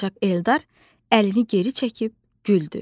Ancaq Eldar əlini geri çəkib güldü.